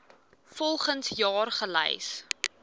volgens jaar gelys